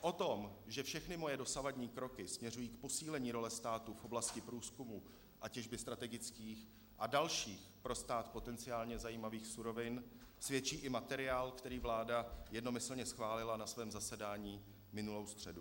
O tom, že všechny moje dosavadní kroky směřují k posílení role státu v oblasti průzkumu a těžby strategických a dalších pro stát potenciálně zajímavých surovin, svědčí i materiál, který vláda jednomyslně schválila na svém zasedání minulou středu.